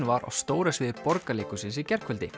var á stóra sviði Borgarleikhússins í gærkvöldi